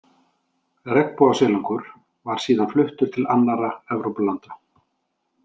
Regnbogasilungur var síðan fluttur til annarra Evrópulanda.